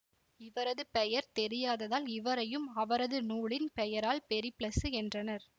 இவரது பெயர் தெரியாததால் இவரையும் அவரது நூலின் பெயரால் பெரிப்ளசு என்றனர்